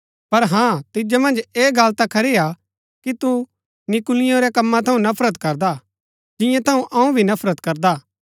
पर हाँ तिजो मन्ज ऐ गल ता खरी हा कि तू नीकुलियों रै कम्मा थऊँ नफरत करदा हा जियां थऊँ अऊँ भी नफरत करदा हा